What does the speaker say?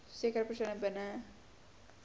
sekere persone binne